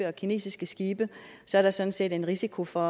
og kinesiske skibe er der sådan set en risiko for